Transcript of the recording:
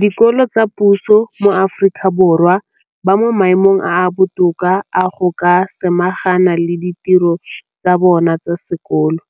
dikolo tsa puso mo Aforika Borwa ba mo maemong a a botoka a go ka samagana le ditiro tsa bona tsa sekolo,